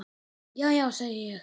Já já, segi ég.